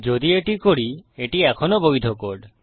যদি এটি করি এটি এখনও বৈধ কোড